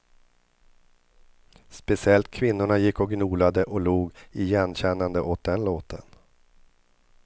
Speciellt kvinnorna gick och gnolade och log igenkännande åt den låten.